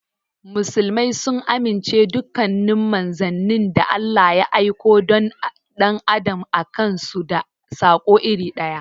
Muslmai sun amince dukkanin manzannin da Allah ya aikowa dan adam an aikosu da sako iri ɗaya.